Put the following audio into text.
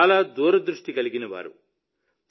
ఆయన చాలా దూరదృష్టి గలవారు